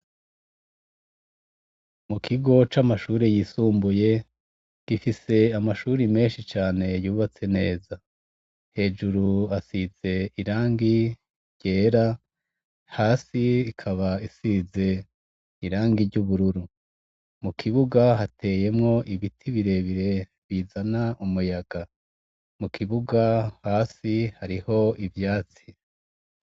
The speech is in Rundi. Mukigo c'amashure yisumbuye gifise amashure menshi cane yubatse neza, hejuru hasize irangi ryera, hasi irangi ry'ubururu, mukibuga hateyemwo ibiti birebire bizana umuyaga, mukibuga hasi hariho ivyatsi.